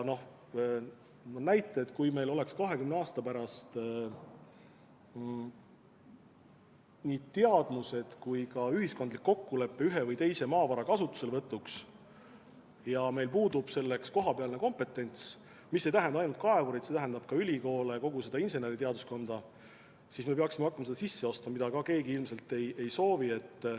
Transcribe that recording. Nii et kui meil oleks 20 aasta pärast nii teadmised kui ka ühiskondlik kokkulepe ühe või teise maavara kasutuselevõtuks, aga meil puudub selleks kohapealne kompetents, mis ei tähenda ainult kaevureid, vaid tähendab ka ülikooli, inseneriteaduskonda, siis me peaksime hakkama seda kompetentsi sisse ostma, mida keegi ilmselt ei soovi.